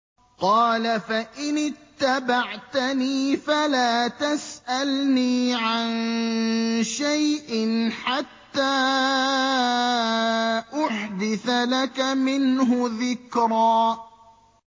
قَالَ فَإِنِ اتَّبَعْتَنِي فَلَا تَسْأَلْنِي عَن شَيْءٍ حَتَّىٰ أُحْدِثَ لَكَ مِنْهُ ذِكْرًا